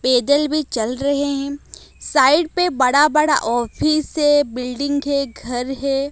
पैदल भी चल रहे हैं साइड पे बड़ा-बड़ा ऑफिस है बिल्डिंग है घर है।